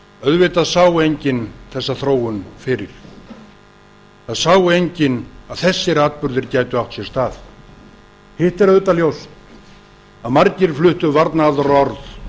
auðvitað sá enginn þessa þróun fyrir það sá enginn að þessir atburðir gætu átt sér stað hitt er auðvitað ljóst að margir fluttu varnaðarorð